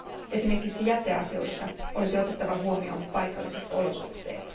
Esimerkiksi jäteasioissa olisi otettava huomioon paikalliset olosuhteet.